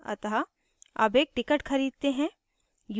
अतः अब एक ticket खरीदते हैं